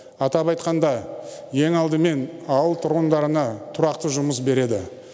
атап айтқанда ең алдымен ауыл тұрғындарына тұрақты жұмыс береді